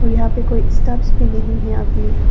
और यहां पे कोई स्टॉप्स भी नहीं है अभी--